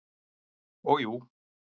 Og jú.